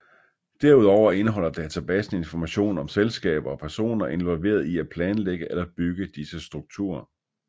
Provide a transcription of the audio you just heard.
Derudover indeholder databasen information om selskaber og personer involveret i at planlægge eller bygge disse strukturer